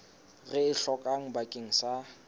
re e hlokang bakeng sa